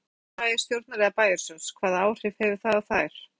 Gísli: Framkvæmdir bæjarstjórnar eða bæjarsjóðs, hvaða áhrif hefur það á þær?